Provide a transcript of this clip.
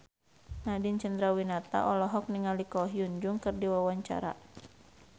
Nadine Chandrawinata olohok ningali Ko Hyun Jung keur diwawancara